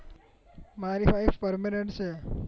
મારી wife permanent છે